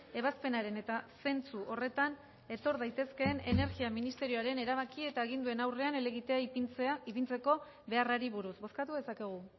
ebazpenaren eta zentzu horretan etor daitezkeen energia ministerioaren erabaki eta aginduen aurrean helegitea ipintzeko beharrari buruz bozkatu dezakegu